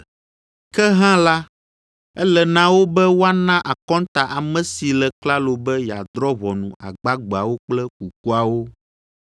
Ke hã la, ele na wo be woana akɔnta ame si le klalo be yeadrɔ̃ ʋɔnu agbagbeawo kple kukuawo.